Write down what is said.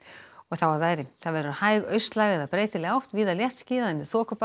og þá að veðri það verður hæg austlæg eða breytileg átt víða léttskýjað en